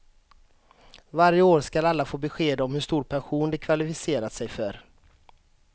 Varje år ska alla få besked om hur stor pension de kvalificerat sig för.